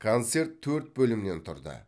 концерт төрт бөлімнен тұрды